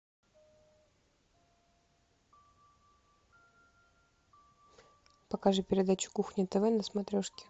покажи передачу кухня тв на смотрешке